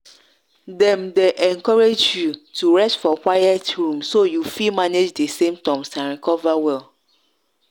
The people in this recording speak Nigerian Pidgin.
dem dey encourage you to rest for quiet room so you fi manage di symptoms and recover well.